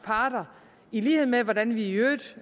parter i lighed med hvordan vi i øvrigt